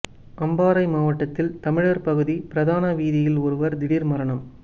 அம்பாறை மாவட்டத்தில் தமிழர் பகுதி பிரதான வீதியில் ஒருவர் திடீர் மரணம்